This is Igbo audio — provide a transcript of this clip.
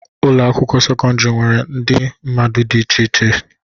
Ụlọ akwụkwọ sekọndrị nwere ndị mmadụ dị iche iche.